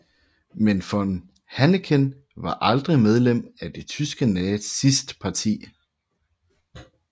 Men von Hanneken var aldrig medlem af det tyske nazistparti